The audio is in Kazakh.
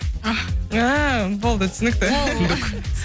ах ааа болды түсінікті түсіндік